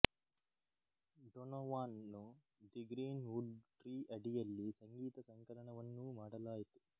Donovan ನ್ನು the greenwood tree ಅಡಿಯಲ್ಲಿ ಸಂಗೀತ ಸಂಕಲನವನ್ನೂ ಮಾಡಲಾಯಿತು